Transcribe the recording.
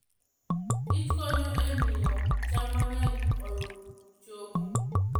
kich konyo e miyo cham mang'eny oyud choke.